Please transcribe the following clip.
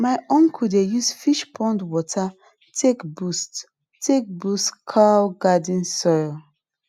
my uncle dey use fish pond water take boost take boost kale garden soil